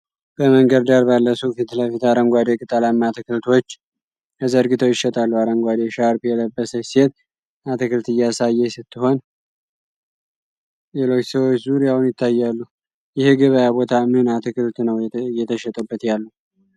በመንገድ ዳር ባለ ሱቅ ፊት ለፊት አረንጓዴ ቅጠላማ አትክልቶች ተዘርግተው ይሸጣሉ። አረንጓዴ ሻርፕ የለበሰች ሴት አትክልት እያሳየች ስትሆን ሌሎች ሰዎች ዙሪያውን ይታያሉ። ይህ የገበያ ቦታ ምን አትክልት ነው እየተሸጠበት ያለው ?